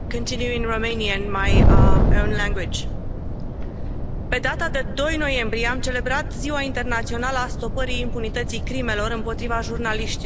Doamnă președintă, pe data de 2 noiembrie am celebrat Ziua Internațională a stopării impunității crimelor împotriva jurnaliștilor.